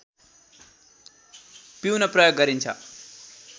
पिउन प्रयोग गरिन्छ